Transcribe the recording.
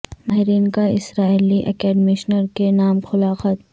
ماہرین کا اسرائیلی اکیڈیمشنز کے نام کھلا خط